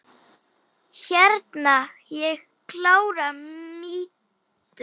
Hreina og klára mýtu?